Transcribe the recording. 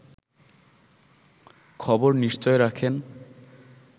খবর নিশ্চয় রাখেন